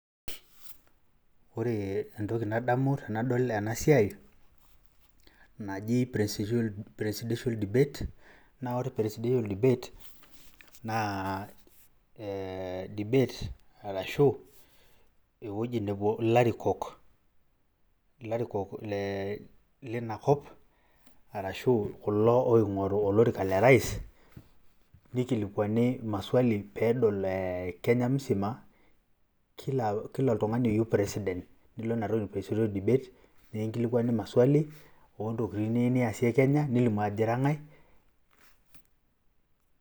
Ore entoki nadamu tenadol ena siai naji Presidiential Debate naa ore Presidential Debate naa aa debate arashu ewueji nepuo ilarikok lina kop arashu kulo oing'oru oliraka le rais mikilikwani maswali pee edol ee Kenya mzima kila oltung'ani oyieu president nilo ina toki presidential debate mekinkilikwani maswali oontokitin niyiue niasie Kenya, nilimu ajo ira ng'ae.